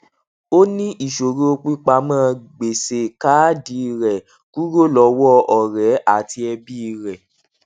ó ní ìṣòro pípamọ gbèsè kaadi rẹ kúrò lọwọ ọrẹ àti ẹbí rẹ